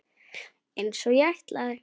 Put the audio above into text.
Einsog ég ætlaði.